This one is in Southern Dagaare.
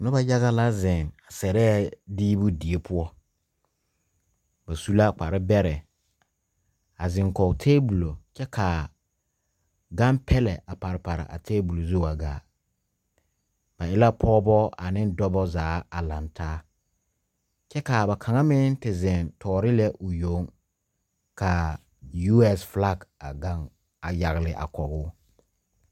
Nu a yaga la zeng sɛrɛɛ diebu deɛ pou ba su la kpare bɛrɛɛ a zeng kɔg tabulo kye ka gangpɛlɛ a pare pare a tabulo zu wa gaa ba e la pɔgba ani dɔba zaa a lang taa kye ka ba kang meng te zeng toɔri lɛ ɔ yong ka USA flag a yagle ɔ.